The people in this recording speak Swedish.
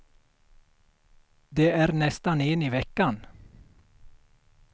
Det är nästan en i veckan.